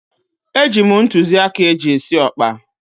Eji m ntụzịaka eji esi ọkpa.